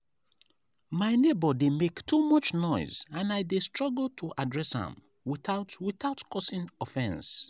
my neighbor dey make too much noise and i dey struggle to address am without without causing offense.